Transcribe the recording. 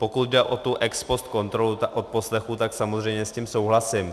Pokud jde o tu ex post kontrolu odposlechů, tak samozřejmě s tím souhlasím.